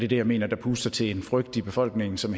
det jeg mener puster til en frygt i befolkningen som